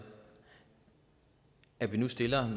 at vi nu stiller